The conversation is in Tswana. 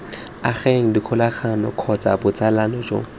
ageng dikgolagano kgotsa botsalano jo